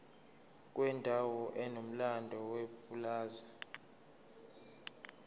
kwendawo enomlando yepulazi